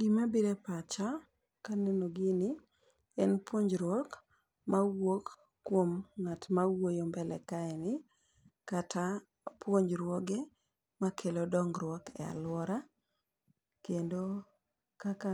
Gima bire pacha kaneno gini en puojruok mawuok kuom ng'at ma wuoyo mbele kae ni kata puonjruoge makelo dongruok e aluora, kendo kaka